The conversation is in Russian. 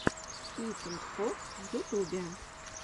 итинг фокс в ютубе